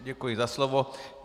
Děkuji za slovo.